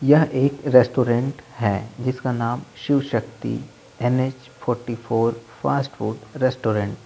यह एक रेस्टोरेंट है जिसका नाम Shiv Shakti N H forty four fast food restaurant --